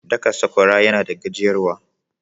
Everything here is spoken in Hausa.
Daka Sakwara yana da gajiyar wa.